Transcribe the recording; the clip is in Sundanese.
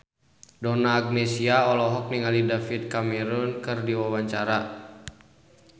Donna Agnesia olohok ningali David Cameron keur diwawancara